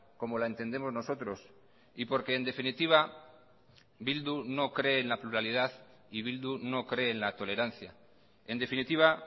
como la entendemos nosotros y porque en definitiva bildu no cree en la pluralidad y bildu no cree en la tolerancia en definitiva